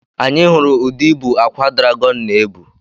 Anyị hụrụ ụdị ibu akwa dragọn na-ebu.